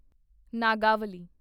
Nagavali